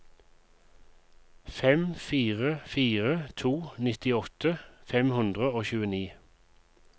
fem fire fire to nittiåtte fem hundre og tjueni